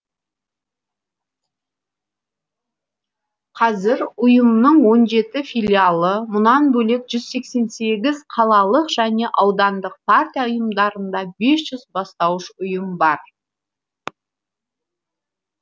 қазір ұйымның он жеті филиалы мұнан бөлек жүз сексен сегіз қалалық және аудандық партия ұйымдарында бес жүз бастауыш ұйым бар